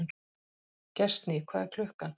Gestný, hvað er klukkan?